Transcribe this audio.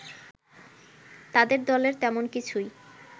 তাদের দলের তেমন কিছুই